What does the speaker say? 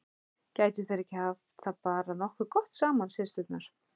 Gætu þær ekki haft það bara nokkuð gott saman, systurnar?